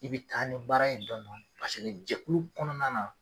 I bi taa ni baara ye dɔɔni dɔɔni. Paseke jɛkulu kɔnɔna na